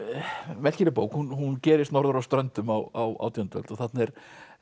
merkileg bók hún gerist norður á Ströndum á átjándu öld þarna er